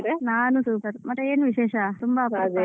ನಾನು super ಮತ್ತೆ ಏನು ವಿಶೇಷ? ತುಂಬಾ ಅಪರೂಪ.